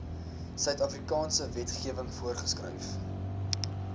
suidafrikaanse wetgewing voorgeskryf